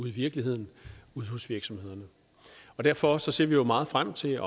i virkeligheden ude hos virksomhederne derfor ser vi jo meget frem til at